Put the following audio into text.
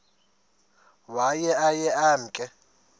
waye aye emke